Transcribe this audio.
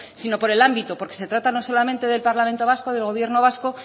sino por el ámbito porque se trata no solamente del parlamento vasco del gobierno vasco